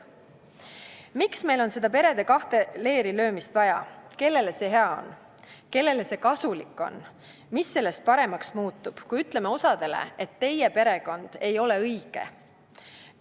" Miks meil on seda perede kahte lehte löömist vaja, kellele see hea on, kellele see kasulik on, mis sellest paremaks muutub, kui ütleme osale, et teie perekond ei ole õige?